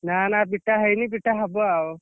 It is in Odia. ନା ନା ପିଟା ହେଇନି ପିଟା ହବଆଉ।